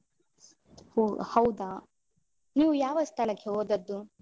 ಓಹ್ ಹೌದಾ, ನೀವು ಯಾವ ಸ್ಥಳಕ್ಕೆ ಹೋದದ್ದು?